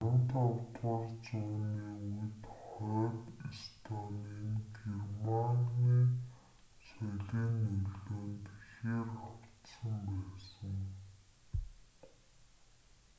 15-р үууны үед хойд эстоны нь германы соёлын нөлөөнд ихээр автсан байсан